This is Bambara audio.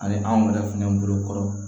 Ani anw yɛrɛ fɛnɛ bolo kɔrɔ